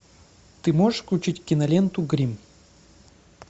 ты можешь включить киноленту гримм